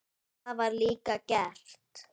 Það var líka gert.